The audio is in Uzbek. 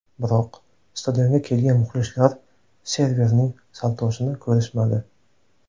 Biroq, stadionga kelgan muxlislar Serverning saltosini ko‘rishmadi.